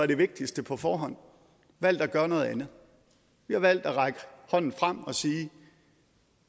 det vigtigste på forhånd valgt at gøre noget andet vi har valgt at række hånden frem og sige